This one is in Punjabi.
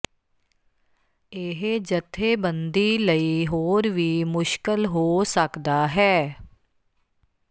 ਇਹ ਜਥੇਬੰਦੀ ਲਈ ਹੋਰ ਵੀ ਮੁਸ਼ਕਲ ਹੋ ਸਕਦਾ ਹੈ